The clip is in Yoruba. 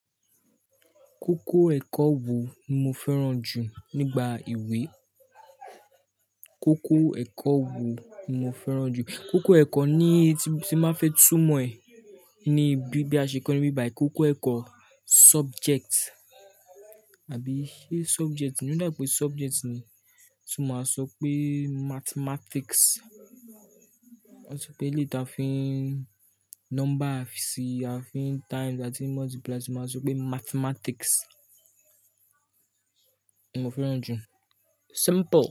Kókó ẹ̀kọ́ wo mo fẹ́ràn jù nígbà awé? Kókó ẹ̀kọ́ wo mo fẹ́ràn jù? Kókó ẹ̀kọ́ ní tí, tí báa fẹ́ túmọ̀ ẹ̀ ní bí, bí a ṣe ń kọ ní bíbàì, kókó ẹ̀kọ́ subject, àbí subject, ní ọ̀dàìpé subject ni, so máa sọ pé mathematics. Wọ́n sọ pé èleyí tí a fi ń number, a fi ń times, a fi ń multiply, so máa sọ pé mathematics. Mo fẹ́ràn jù. Simple.